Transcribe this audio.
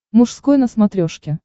мужской на смотрешке